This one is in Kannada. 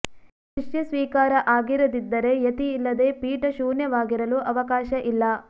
ಶಿಷ್ಯ ಸ್ವೀಕಾರ ಆಗಿರದಿದ್ದರೆ ಯತಿ ಇಲ್ಲದೆ ಪೀಠ ಶೂನ್ಯವಾಗಿರಲು ಅವಕಾಶ ಇಲ್ಲ